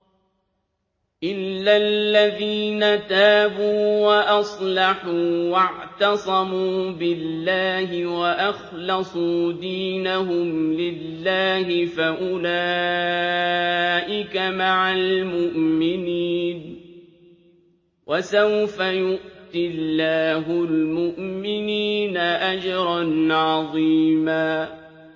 إِلَّا الَّذِينَ تَابُوا وَأَصْلَحُوا وَاعْتَصَمُوا بِاللَّهِ وَأَخْلَصُوا دِينَهُمْ لِلَّهِ فَأُولَٰئِكَ مَعَ الْمُؤْمِنِينَ ۖ وَسَوْفَ يُؤْتِ اللَّهُ الْمُؤْمِنِينَ أَجْرًا عَظِيمًا